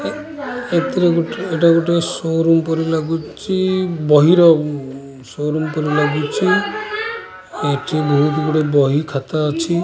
ଏ ଏଥିରେ ଗୋଟେ ଏଇଟା ଗୋଟେ ସୋ ରୁମ୍ ପରି ଲାଗୁଚି ବହିର ଉଁ ସୋ ରୁମ୍ ପରି ଲାଗୁଚି ଏଠି ବହୁତ ଗୁଡେ ବହି ଖାତା ଅଛି।